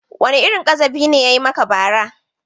Wane irin ƙazafi ne ya yi maka bara?